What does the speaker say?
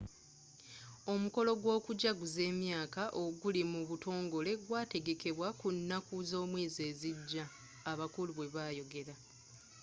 omukolo gw'okujaguza emyaka oguli mu butongole gwategekebwa ku nnaku z'omwezi ezijja abakungu bwebayogera